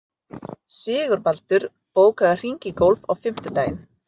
Sigurbaldur, bókaðu hring í golf á fimmtudaginn.